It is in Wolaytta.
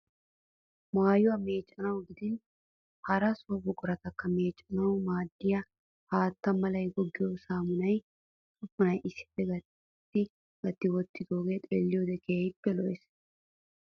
Maayuwa meeccanawu gidin hara so buquratakka meeccanawu maaddiya haata mala goggiya saamunaa usuppunaa issippe gatti gatti wottooge xeelliyoode keehippe lo'es.